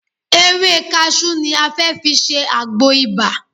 Ewé kaṣú ni a fẹ́ fi ṣe agbo ibà